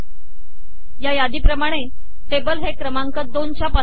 या यादीप्रमाणे टेबल हे क्रमांक दोनच्या पानावर आहे